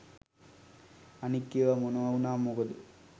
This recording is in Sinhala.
අනික් ඒව මොනව උනාම මොකද